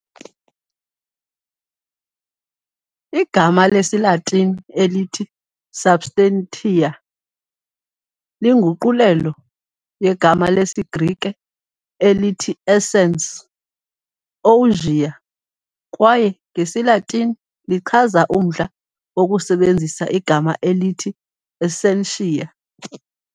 Igama lesiLatini elithi substantia - linguqulelo yegama lesiGrike elithi essence, ousia, kwaye ngesiLatini lichaza umdla wokusebenzisa igama elithi essentia.